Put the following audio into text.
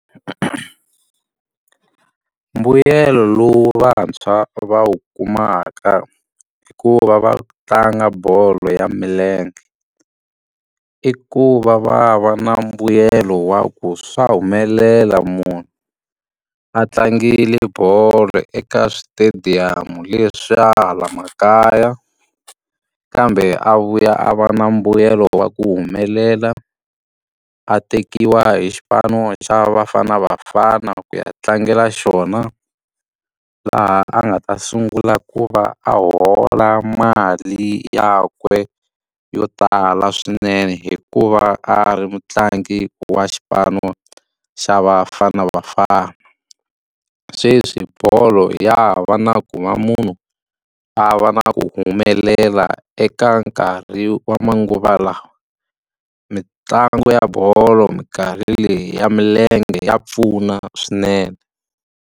Mbuyelo lowu vantshwa va wu kumaka hi ku va va tlanga bolo ya milenge, i ku va va va na mbuyelo wa ku swa humelela munhu a tlangile bolo eka swi-stadium leswiya hala makaya kambe a vuya a va na mbuyelo wa ku humelela. A tekiwa hi xipano xa Bafana Bafana ku ya tlangela xona, laha a nga ta sungula ku va a hola mali yakwe yo tala swinene hikuva a ri mutlangi wa xipano xa Bafana Bafana. Sweswi bolo ya ha va na ku va munhu a va na ku humelela eka nkarhi wa manguva lawa, mitlangu ya bolo minkarhi leyi ya milenge ya pfuna swinene.